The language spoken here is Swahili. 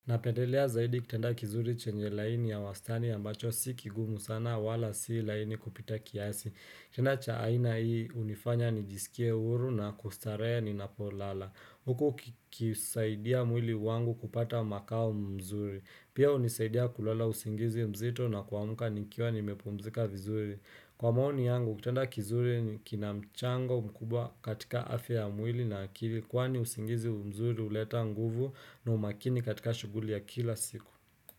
Napendelea zaidi kiteada kizuri chenye laini ya wastani ambacho si kigumu sana wala si laini kupita kiasi. Kitanda chaaina hii unifanya nijisikie uru na kustarahe ni napo lala. Huku kisaidia mwili wangu kupata makao mzuri. Pia unisaidia kulala usingizi mzito na kwa muka nikiwa nimepomzika vizuri. Kwa maoni yangu, kutanda kizuri ni kinamchango mkubwa katika afya ya mwili na akili Kwani usingizi umzuri uleta nguvu na umakini katika shuguli ya kila siku.